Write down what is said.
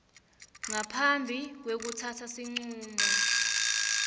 ngaphambi kwekutsatsa sincumo